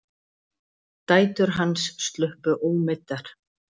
Dætur hans sluppu ómeiddar